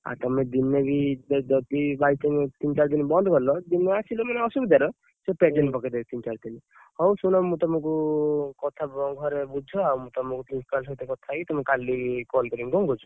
ଆଉ ତମେ ଦିନେ ବି ଯଦି by chance ତିନି ଚାରି ଦିନ ବନ୍ଦ କଲ, ଯଦି ନ ଆସିଲ ମାନେ ଅସୁବିଧାର ସେ present ପକେଇ ଦେବେ ତିନି ଚାରି ଦିନର ହଉ ଶୁଣ, ମୁଁ ତମକୁ କଥା ଘରେ ବୁଝ। ମୁଁ ତମକୁ principal ସହିତ କଥା ହେଇକି ତମକୁ କାଲି call କରିବି। କଣ କହୁଛ?